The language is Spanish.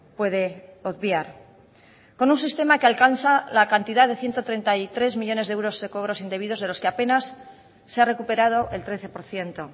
puede obviar con un sistema que alcanza la cantidad de ciento treinta y tres millónes de euros de cobros indebidos de los que apenas se ha recuperado el trece por ciento